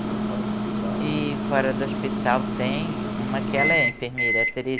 Mas fora do hospital... E fora do hospital tem uma que ela é enfermeira, a